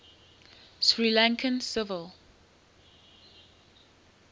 sri lankan civil